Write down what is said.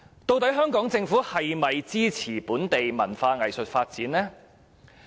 究竟香港政府是否支持本地文化藝術發展呢？